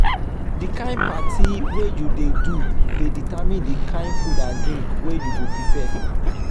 the kind parti wey you de do de determine di kind food and drink wey you go prepare